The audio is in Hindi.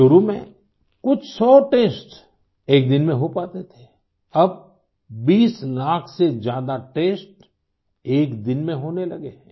शुरू में कुछ सौ टेस्ट एक दिन में हो पाते थे अब 20 लाख से ज्यादा टेस्ट एक दिन में होने लगे हैं